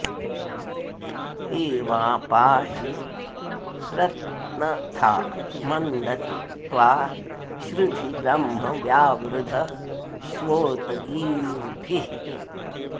एवा पाहि प्रत्नथा मन्दतु त्वा श्रुधि ब्रह्म वावृधस्वोत गीर्भिः